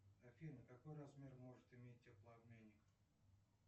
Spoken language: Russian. афина какой размер может иметь теплообменник